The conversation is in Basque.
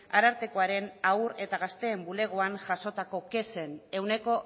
arartekoaren haur eta gazteen bulegoan jasotako kexen ehuneko